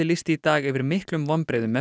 lýsti í dag yfir miklum vonbrigðum með